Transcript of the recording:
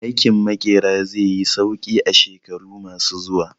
Aikin Maƙera zai yi sauƙi a shekaru ma su zuwa